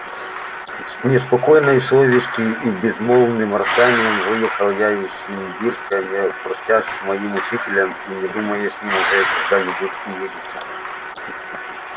с неспокойной совестию и с безмолвным раскаянием выехал я из симбирска не простясь с моим учителем и не думая с ним уже когда-нибудь увидеться